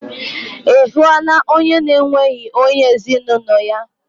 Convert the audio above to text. Ị hụla onye na-enweghị onye ezinaụlọ ya?